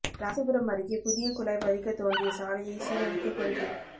ராசிபுரம் அருகே புதிய குழாய் பதிக்க தோண்டிய சாலையை சீரமைக்க கோரிக்கை